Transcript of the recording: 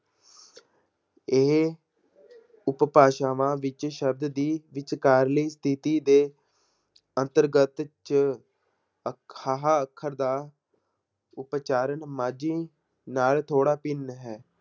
ਇਹ ਉਪਭਾਸ਼ਾਵਾਂ ਵਿੱਚ ਸ਼ਬਦ ਦੀ ਵਿਚਕਾਰਲੀ ਤਿੱਥੀ ਦੇ ਅੰਤਰਗਤ 'ਚ ਅ~ ਹਾਹਾ ਅੱਖਰ ਦਾ ਉਚਾਰਨ ਮਾਝੀ ਨਾਲ ਥੋੜ੍ਹਾ ਭਿੰਨ ਹੈ।